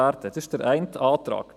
Dies ist der eine Antrag.